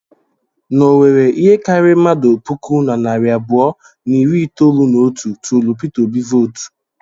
N'Owerri, ihe karịrị mmadụ puku na narị abụọ na iri itolu na otu tụụrụ Pita Obi vootu.